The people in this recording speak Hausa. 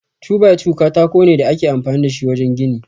2-by-2 katako ne da ake amfani da shi wajen gini.